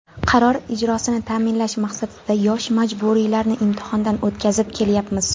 Qaror ijrosini ta’minlash maqsadida yosh murabbiylarni imtihondan o‘tkazib kelyapmiz.